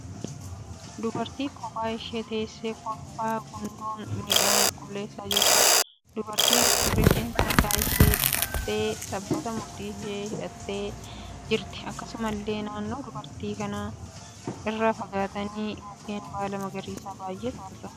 Dubartii kophaa ishee teessee kolfaa gundoon midhaan qulleessaa jirtuudha. Dubartiin kun rifeensa mataa ishee dhahaattee sabbataan mudhii ishee hidhattee jirti. Akkasumallee naannoo dubartii kanaa irraa fagaatanii mukeen baala magariisaa baay'eetu jira.